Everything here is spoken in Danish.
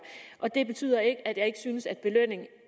og det betyder ikke at jeg ikke synes at belønning